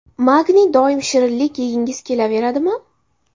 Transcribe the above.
Magniy Doim shirinlik yegingiz kelaveradimi?